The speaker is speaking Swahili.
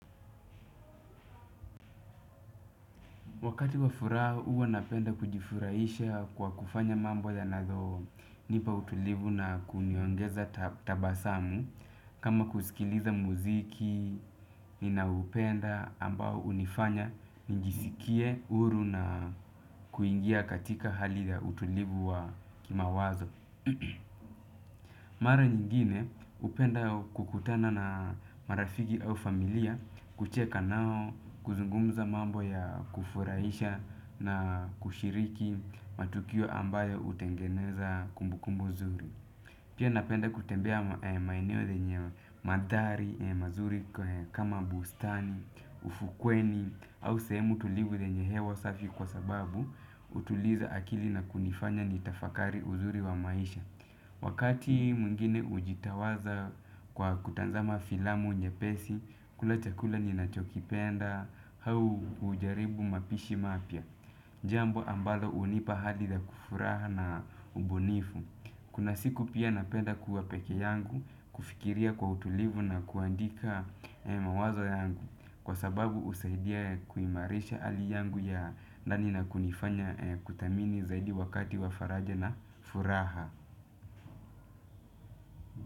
Wakati wa furaha huwa napenda kujifurahisha kwa kufanya mambo ya nayonipa utulivu na kuniongeza tabasamu kama kusikiliza muziki ninaupenda ambao hunifanya njisikie huru na kuingia katika hali ya utulivu wa kimawazo. Mara nyingine hupenda kukutana na marafiki au familia, kucheka nao kuzungumza mambo ya kufurahisha na kushiriki matukio ambayo hutengeneza kumbukumbu zuri. Pia napenda kutembea maeneo zenye mandhari mazuri kama bustani, ufukweni au sehemu tulivu lenye hewa safi kwa sababu, hutuliza akili na kunifanya nitafakari uzuri wa maisha. Wakati mungine hujitawaza kwa kutazama filamu nyepesi, kula chakula nina chokipenda, au ujaribu mapishi mapya. Jambo ambalo hunipa hadi za kufuraha na ubunifu. Kuna siku pia napenda kuwa peke yangu, kufikiria kwa utulivu na kuandika mawazo yangu. Kwa sababu husaidia kuimarisha hali yangu ya ndani na kunifanya kuthamini zaidi wakati wa faraja na furaha.